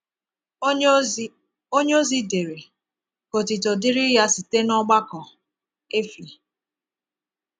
Onyeozi Onyeozi dere: “Ka otuto dịrị Ya site n’ọgbakọ.” — Efi.